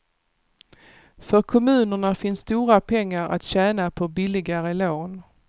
För kommunerna finns stora pengar att tjäna på billigare lån.